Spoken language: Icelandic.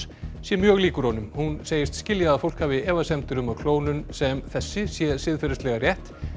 sé mjög líkur honum hún segist skilja að fólk hafi efasemdir um að klónun sem þessi sé siðferðislega rétt